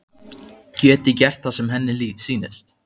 Geti gert það sem henni sýnist.